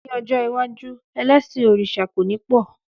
Ní ọjọ́ iwájú, elẹ́sìn òrìṣà kò ní pọ̀.